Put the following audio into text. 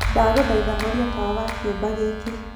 ndagũthaĩtha horĩa tawa wa kiumba gĩkĩ